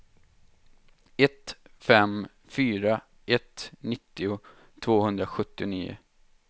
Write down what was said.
ett fem fyra ett nittio tvåhundrasjuttionio